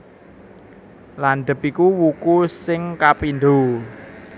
Landhep iku wuku sing kapindho